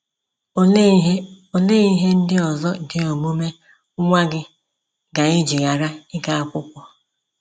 Olee ihe Olee ihe ndị ọzọ dị omume nwa gị ga-eji ghara iga akwụkwọ?